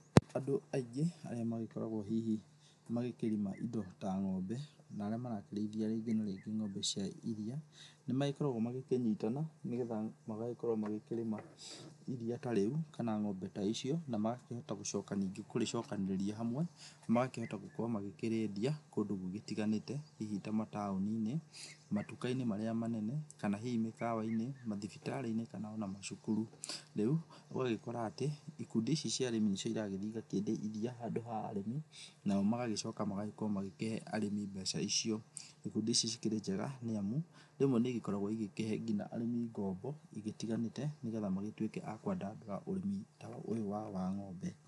Andũ aingĩ arĩa magĩkoragwo hihi magĩkĩrĩma ĩndo ta ng'ombe na arĩa marakĩrĩithia rĩngĩ na rĩngĩ ng'ombe cia ĩriya nĩ magĩkoragwo magĩkĩnyitana nĩgetha magagĩkorwo magĩkĩrĩma ĩriya ta rĩu kana ng'ombe ta icio na magakĩhota gũcoka rĩngĩ kũrĩcokanĩrĩria hamwe magakĩhota gũkorwo magĩkĩrĩendia kũndũ gũgĩtiganĩte hihi ta mataoni-inĩ, matuka-inĩ marĩa manene kana hihi mĩkawa-inĩ, mathibitari-inĩ kana ona macukuru. Rĩu ũgagĩkora atĩ ikundi ici cia arĩmi nĩcio ĩragĩthĩ ĩgakĩendia ĩriya handũ ha arĩmi, nao magagĩcoka magagĩkorwo magĩkĩhe arĩmi mbeca icio. Ikundi ici cikĩrĩ njega nĩamu rĩmwe nĩcikoragwo ĩgĩkĩhe arĩmi ngombo ĩgĩtiganĩte nĩgetha magĩtuĩke a kwandandũra ũrĩmi ũyũ wao wa ng'ombe.